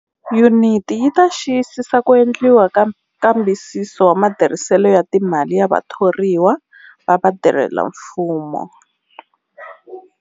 Yuniti yi ta xiyisisa ku endliwa ka nkambisiso wa matirhiselo ya timali ya vathoriwa va vatirhelamfumo.